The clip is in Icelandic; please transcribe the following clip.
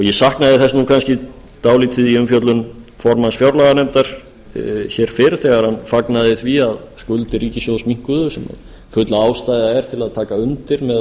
ég saknaði þess kannski dálítið í umfjöllun formanns fjárlaganefndar fyrr þegar hann fagnaði því að skuldir ríkissjóðs minnkuðu sem full ástæða er til að taka undir með